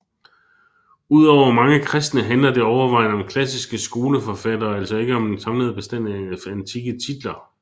Ud over mange kristne handler det overvejende om klassiske skoleforfattere og altså ikke om den samlede bestand af antikke titler